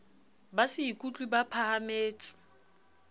ba se ikutlwe ba phahametse